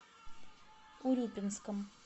урюпинском